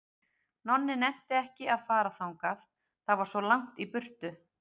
Nonni nennti ekki að fara þangað, það var svo langt í burtu.